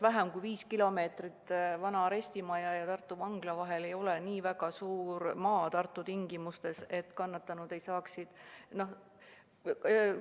Vähem kui viis kilomeetrit vana arestimaja ja Tartu Vangla vahel ei ole nii pikk maa, et kannatanud ei saaks kohale minna.